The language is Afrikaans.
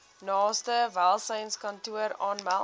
naaste welsynskantoor aanmeld